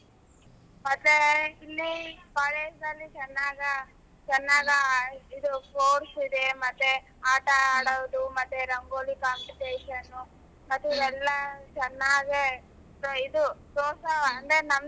ಮತ್ತೆ ಇಲ್ಲಿ ಈ college ಅಲ್ಲಿ ಚೆನ್ನಾಗ ಚೆನ್ನಾಗ ಇದ್ course ಮತ್ತೆ ಆಟ ಆಡೋದು ಮತ್ತೆ ರಂಗೋಲಿ competition ಮತ್ತೆ ಇಲ್ಲೆಲ್ಲ ಚೆನ್ನಗೆ ಇದು ಅಂದ್ರೆ ನಮದು.